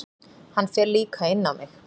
Hann fer líka inn á mig.